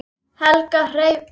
Helga Hrefna.